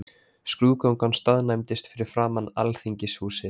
Skrúðgangan staðnæmdist fyrir framan Alþingishúsið.